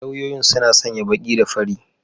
Lauyoyin suna sanya baki da fari.